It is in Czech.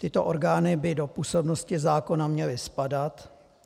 Tyto orgány by do působnosti zákona měly spadat.